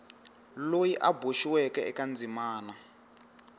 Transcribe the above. loyi a boxiweke eka ndzimana